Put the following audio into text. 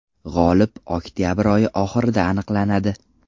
G‘olib oktabr oyi oxirida aniqlanadi.